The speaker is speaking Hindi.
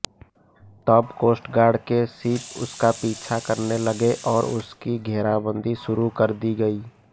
तब कोस्टगार्ड के शिप उसका पीछा करने लगे और उसकी घेराबंदी शुरू कर दी गई